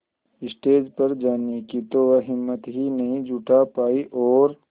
stage पर जाने की तो वह हिम्मत ही नहीं जुटा पाई और